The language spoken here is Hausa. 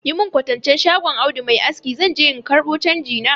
Yi mun kwatancen shagon Audu mai aski zan je in ƙarbo canji na.